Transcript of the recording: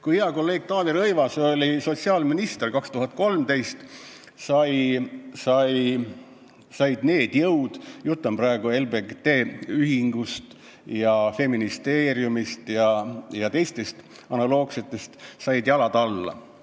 Kui hea kolleeg Taavi Rõivas oli aastal 2013 sotsiaalminister, said need jõud – jutt on LGBT ühingust ja Feministeeriumist ja teistest analoogsetest ühendustest – jalad alla.